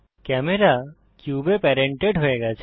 camera কিউবে parented হয়ে গেছে